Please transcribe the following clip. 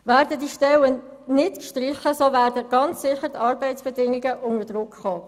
Werden die Stellen nicht gestrichen, werden ganz sicher die Arbeitsbedingungen unter Druck geraten.